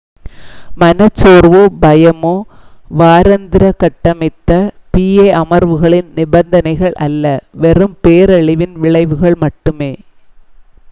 மனச் சோர்வோ பயமோ வாராந்திர கட்டமைத்த pa அமர்வுகளின் நிபந்தனைகள் அல்ல வெறும் பேரழிவின் விளைவுகள் மட்டுமே